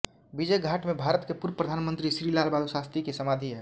विजय घाट में भारत के पूर्व प्रधान मंत्री श्री लाल बहादुर शास्त्री की समाधि है